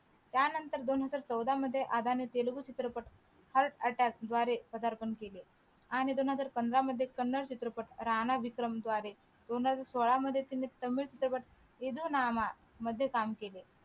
त्या नंतर दोन हजार चौदा मध्ये आदाने तेलगू चित्रपट heart atack द्वारे पदार्पण केले आणि दोन हजार पंधरा मध्ये कन्नड चित्रपट राणा विक्रम द्वारे दोन हजार सोळा मध्ये तामिळ चित्रपट विदूनामा मध्ये काम केले